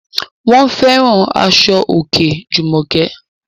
Wọ́n fẹ́ràn aṣọ òkè Jùmọ̀kẹ́